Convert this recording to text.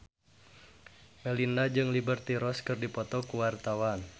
Melinda jeung Liberty Ross keur dipoto ku wartawan